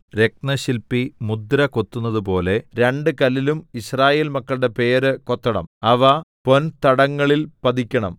രത്നശില്പി മുദ്ര കൊത്തുന്നതുപോലെ രണ്ട് കല്ലിലും യിസ്രായേൽ മക്കളുടെ പേര് കൊത്തണം അവ പൊൻ തടങ്ങളിൽ പതിക്കണം